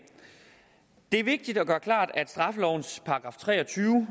det er vigtigt at gøre klart at straffelovens § tre og tyve